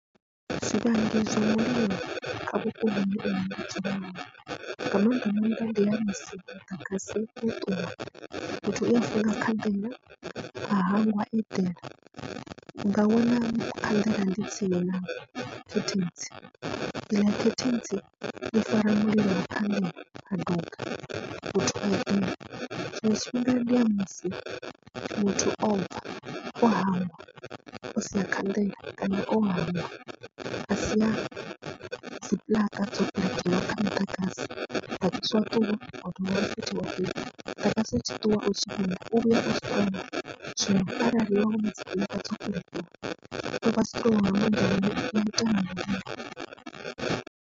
U swika ndi zwone kha vhuponi hanga ndi ya musi muḓagasi wo ṱuwa fhethu muthu uya funga khanḓela a hangwa a eḓela unga wana khanḓela ḽi tsini na khethentsi ḽiya khethentsi ḽa fara mulilo ha duga muthu a duga, tshiṅwe tshifhinga ndi ya musi muthu o bva o hangwa o sia khanḓela kana o hangwa a sia dzi puḽaka dzo puḽakiwa kha muḓagasi wa ṱuwa utshi vhuya u vhuya u strong, zwino arali havha .